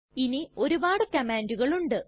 ഇനി ഒരുപാട് കംമാണ്ടുകൾ ഉണ്ട്